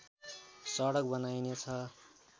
सडक बनाइने छ